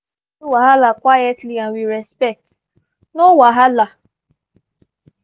we all gree to settle wahala quietly and with respect no wahala!